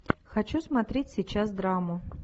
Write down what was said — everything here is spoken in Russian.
хочу смотреть сейчас драму